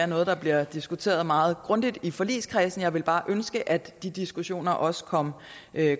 noget der bliver diskuteret meget grundigt i forligskredsen jeg ville bare ønske at de diskussioner også kom